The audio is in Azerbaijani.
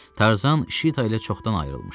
Tarzan Şita ilə çoxdan ayrılmışdı.